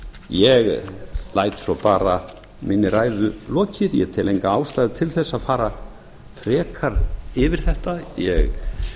ég læt svo minni ræðu lokið ég tel enga ástæðu til að fara frekar yfir þetta ég